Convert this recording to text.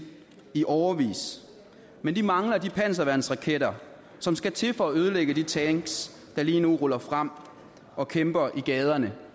i årevis men de mangler de panserværnsraketter som skal til for at ødelægge de tanks der lige nu ruller frem og kæmper i gaderne